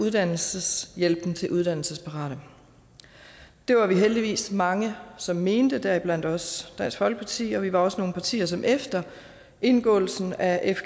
uddannelseshjælpen til uddannelsesparate det var vi heldigvis mange som mente deriblandt også dansk folkeparti og vi var også nogle partier som efter indgåelsen af